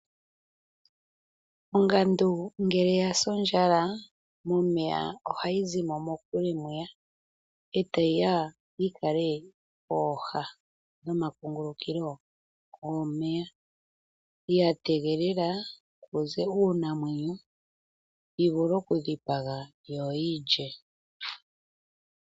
Ongandu ngele yasi ondjala momeya ohayi zimo mokule mwiya, etayi ya yikale pooha noma kungulukilo gomeya, ya tegelela kuze uunamwenyo yi vule oku dhipaga yo yi lye.